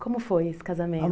Como foi esse